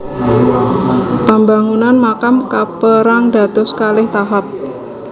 Pambangunan makam kapérang dados kalih tahap